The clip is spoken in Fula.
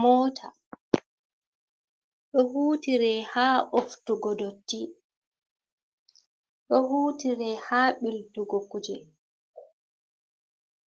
"Moota"ɗo hutire ha ɓoftugo dotti ɗo hutire ha ɓiltugo kuje